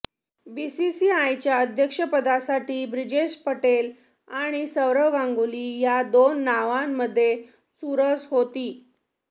बीसीसीआयच्या अध्यक्षपदासाठी ब्रिजेश पटेल आणि सौरव गांगुली या दोन नावांमध्ये चुरस होती